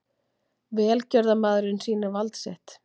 Velgjörðarmaðurinn sýnir vald sitt